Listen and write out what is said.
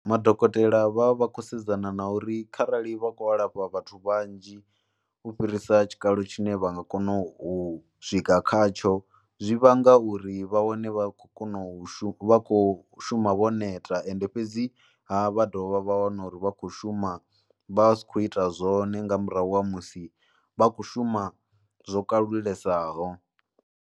Madokotela vha vha kho sedzana na uri kharali vha khou lafha vhathu vhanzhi u fhirisa tshikalo tshine vha nga kona u swika khatsho zwi vhanga uri vha wane vha khou kona u shuma, vha khou shuma vho neta ende fhedziha vha dovha vha wana uri vha kho shuma vha vha si khou ita zwone nga murahu ha musi vha khou shuma zwo kalulesaho.